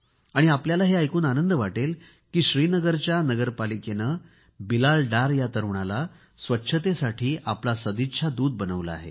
आपल्याला हे ऐकून आनंद वाटेल की श्रीनगरच्या नगरपालिकेने बिलाल डार या तरूणाला स्वच्छतेसाठी आपला सदिच्छा दूत म्हणून बनवले आहे